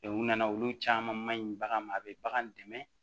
u nana olu caman ma ɲi bagan ma a bɛ bagan dɛmɛ